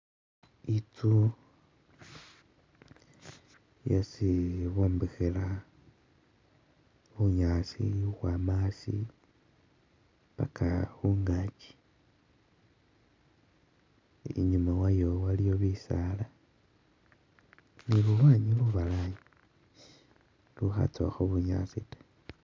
Inzu esii bombekhela bunyaasi khukhwama asii paka khungachi inyuma wayo waliyo bisaala ni lulwanyi lubalayi lukhatsowakho bunyaasi taa